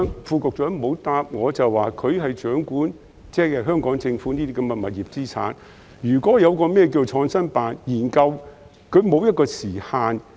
副局長沒有回答，他負責掌管香港政府的物業資產，創新辦的研究是否沒有時限？